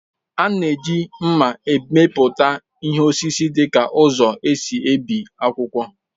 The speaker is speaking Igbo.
A na-eji mma emepụta ihe n'osisi dịka ụzọ e si ebi akwụkwọ